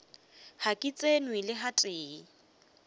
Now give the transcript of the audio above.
ga ke tsenwe le gatee